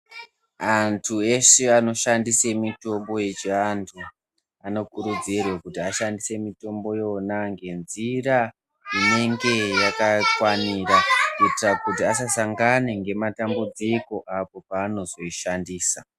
Antu eshe anoshandise mitombo yechiantu. Anokurudzirwe kuti ashandise mitombo yona ngenzira inenge yakakwanira. Kuitira kuti asasangane ngematambudziko apo panozoishandisa.